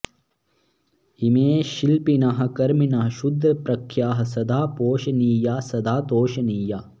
इमे शिल्पिनः कर्मिणः शूद्रप्रख्याः सदा पोषणीया सदा तोषणीया